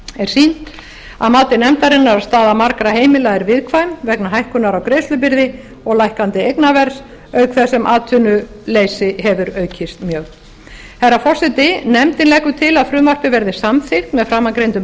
er sýnt að mati nefndarinnar að staða margra heimila er viðkvæm vegna hækkunar á greiðslubyrði og lækkandi eignaverðs auk þess sem atvinnuleysi hefur aukist mjög herra forseti nefndin leggur til að frumvarpið verði samþykkt með framangreindum